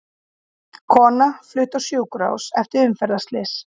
Kona flutt á sjúkrahús eftir umferðarslys